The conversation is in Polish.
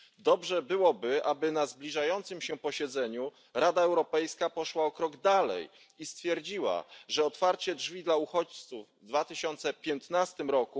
Dobrze byłoby, aby na zbliżającym się posiedzeniu Rada Europejska poszła o krok dalej i stwierdziła, że otwarcie drzwi dla uchodźców w 2015 r.